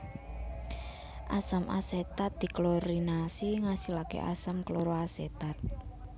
Asam asetat diklorinasi ngasilake asam kloroasetat